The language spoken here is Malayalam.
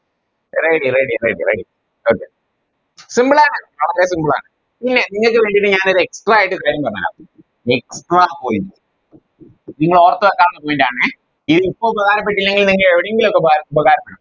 Ready ready ready ready okay simple ആണ് വളരെ Simple ആണ് പിന്നെ നിങ്ങൾക്ക് വേണ്ടിട്ട് ഞാനോര് Extra ആയിട്ട് ഒരു കാര്യം പറഞ്ഞെരാ ഒരു extra point നിങ്ങളോർത്ത് വെക്കാനായിട്ടാണെ നിങ്ങക്കിപ്പോ ഉപകാരപ്പെട്ടില്ലെങ്കി നിങ്ങക്കെവിടെങ്കിലൊക്കെ ഉപ ഉപകാരപ്പെടും